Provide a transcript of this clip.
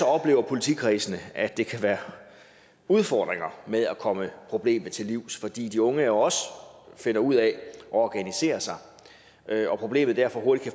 oplever politikredsene at der kan være udfordringer med at komme problemet til livs fordi de unge jo også finder ud af at organisere sig og problemet derfor hurtigt